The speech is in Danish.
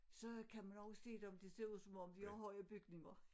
Så kan man også se dem det ser ud om om de har høje bygninger